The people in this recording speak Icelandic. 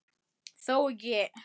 Þó ekki.?